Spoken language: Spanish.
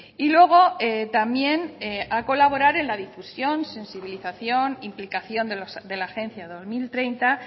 y luego también a colaborar en la difusión sensibilización implicación de la agencia dos mil treinta